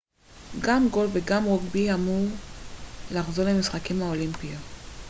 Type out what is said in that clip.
גם גולף וגם רוגבי אמורים לחזור למשחקים האולימפיים